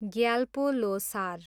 Gyalpo Losar